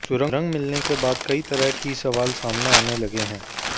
सुरंग मिलने के बाद कई तरह की सवाल सामने आने लगे हैं